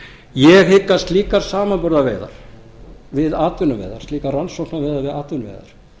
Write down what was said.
ég hygg að slíkar samanburðarveiðar við atvinnuveiðar slíkar rannsóknarveiðar við atvinnuveiðar